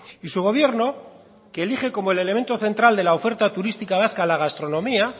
y su gobierno que elige como el elemento central de la oferta turística vasca la gastronomía